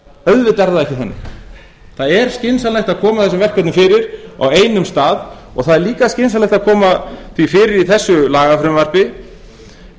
ekki þannig það er óskynsamlegt að koma þessum verkefnum fyrir á einum stað og það er líka skynsamlegt að koma því fyrir í þessu lagafrumvarpi